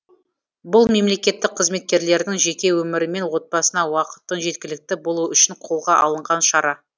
бұл мемлекеттік қызметкерлердің жеке өмірі мен отбасына уақыттың жеткілікті болуы үшін қолға алынған шара